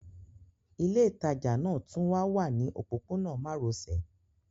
Ilé ìtajà náà tún wá wà ní òpópónà márosẹ̀